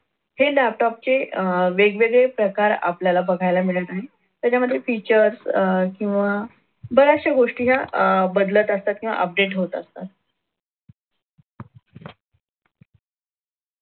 हे laptop चे अह वेगवेगळे प्रकार आपल्याला बघायला मिळत आहे. त्याच्यामध्ये features अह किंवा बऱ्याचशा गोष्टी या अह बदलत असतात किंवा update होत असतात.